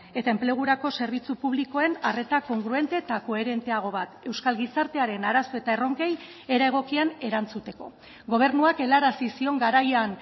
eta enplegurako zerbitzu publikoen arreta kongruente eta koherenteago bat euskal gizartearen arazo eta erronkei era egokian erantzuteko gobernuak helarazi zion garaian